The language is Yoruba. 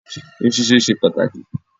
Irun ṣíṣe ṣe pàtàkì.